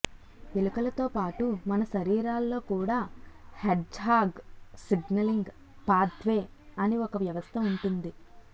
ఎలుకలతో పాటు మన శరీరాల్లో కూడా హెడ్జ్హాగ్ సిగ్నలింగ్ పాథ్వే అని ఒక వ్యవస్థ ఉంటుంది